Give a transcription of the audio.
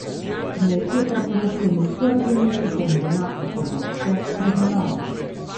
Kmetje preprosto niso razumeli pomena ekološke pridelave.